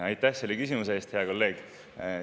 Aitäh selle küsimuse eest, hea kolleeg!